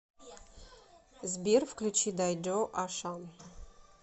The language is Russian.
сбер включи дайдо ашан